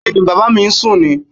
Bẹ́ẹ̀ni, Bàbá mi ń sún ni